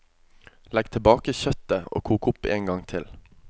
Legg tilbake kjøttet og kok opp en gang til.